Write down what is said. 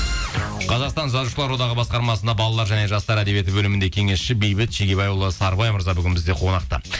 қазақстан жазушылар одағы басқармасында балалар және жастар әдебиеті бөлімінде кеңесші бейбіт шегебайұлы сарыбай мырза бүгін бізде қонақта